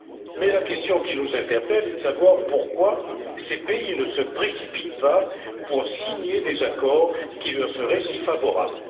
Mais la question qui nous interpelle est de savoir pourquoi ces pays ne se précipitent pas pour signer des accords qui leur seraient si favorables.